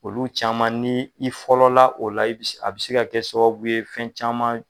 Olu caman ni i fɔlɔla o la, a be se ka kɛ sababu ye fɛn caman